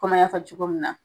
komi an y'a fɔ cogo min na.